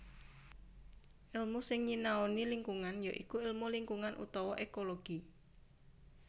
Èlmu sing nyinaoani lingkungan ya iku ilmu lingkungan utawa ékologi